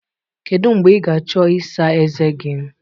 Kedu mgbe ị ga-achọ ịsa ezé gị?